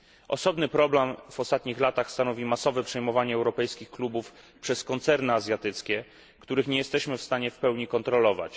Osobny problem w ostatnich latach stanowi masowe przejmowanie europejskich klubów przez koncerny azjatyckie, których nie jesteśmy w stanie w pełni kontrolować.